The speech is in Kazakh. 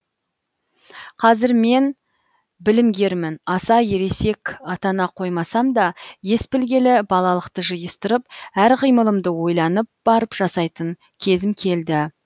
қазір мен білімгермін аса ересек атана қоймасам да ес білгелі балалықты жиыстырып әр қимылымды ойланып барып жасайтын кезім келді